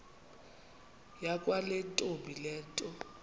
yakwantombi le nto